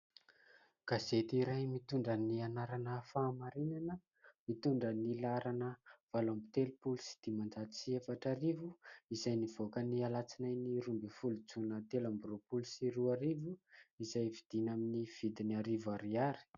Gazety iray mitondra ny anarana Fahamarinana, mitondra ny laharana valo amby telopolo sy dimanjato sy efatra arivo, izay nivoaka ny alatsinainy roa ambin'ny folo jona telo amby roapolo sy roa arivo, izay vidiana amin'ny vidiny arivo ariary.